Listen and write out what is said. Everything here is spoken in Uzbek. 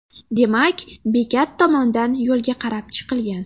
Demak, bekat tomondan yo‘lga qarab chiqilgan.